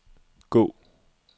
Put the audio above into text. gå